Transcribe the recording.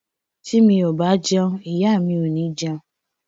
tí mi ò bá jẹun ìyá mi ò ní í jẹun